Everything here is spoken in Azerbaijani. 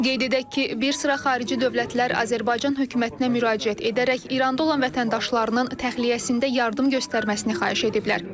Qeyd edək ki, bir sıra xarici dövlətlər Azərbaycan hökumətinə müraciət edərək İranda olan vətəndaşlarının təxliyəsində yardım göstərməsini xahiş ediblər.